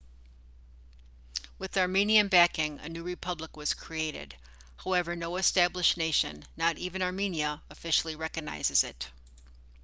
with armenian backing a new republic was created however no established nation not even armenia officially recognizes it